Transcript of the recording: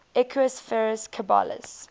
equus ferus caballus